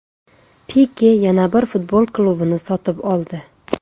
Pike yana bir futbol klubini sotib oldi.